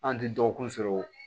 An tɛ dɔgɔkun sɔrɔ